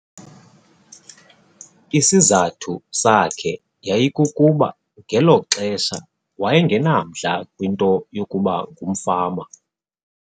Isizathu sakhe yayikukuba ngelo xesha waye ngenamdla kwinto yokuba ngumfama.